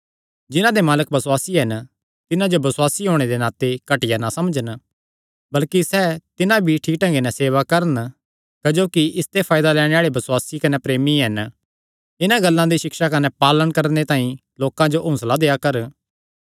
जिन्हां दे मालक बसुआसी हन तिन्हां जो बसुआसी होणे दे नाते घटिया ना समझन बल्कि सैह़ तिन्हां भी ठीक ढंगे नैं सेवा करन क्जोकि इसते फायदा लैणे आल़े बसुआसी कने प्रेमी हन इन्हां गल्लां दी सिक्षा कने पालण करणे तांई लोकां जो हौंसला देआ कर